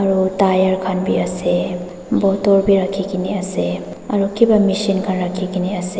aru tyre khan bi ase bottle bi rakhigena ase aru kiba machine khan rakhigena ase.